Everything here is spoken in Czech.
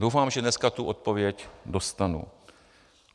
Doufám, že dneska tu odpověď dostanu.